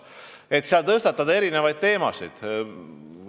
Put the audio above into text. Kas seal tuleks tõstatada erinevaid teemasid?